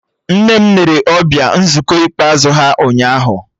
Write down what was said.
Nne m nere ọbịa nzukọ ikpeazụ ha ụnyaahụ